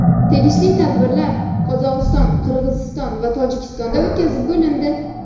Tegishli tadbirlar Qozog‘iston, Qirg‘iziston va Tojikistonda o‘tkazib bo‘lindi.